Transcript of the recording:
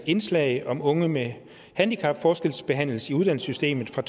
indslag om unge med handicap forskelsbehandles i uddannelsessystemet fra